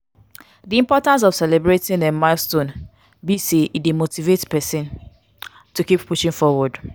di importance of celebrating um milestone be say e dey motivate pesin to keep pushing forward.